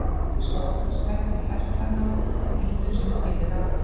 Ares var oftast klæddur í herklæði á myndum sem til eru af honum.